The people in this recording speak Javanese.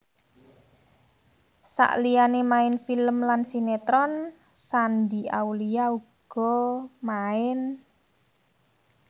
Saliyane main film lan sinetron Shandy Aulia uga main